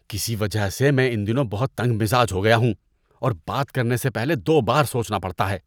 کسی وجہ سے میں ان دنوں بہت تنگ مزاج ہو گیا ہوں اور بات کرنے سے پہلے دو بار سوچنا پڑتا ہے۔